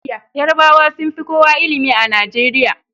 Yarabawa sun fi kowa ilimi a Najeriya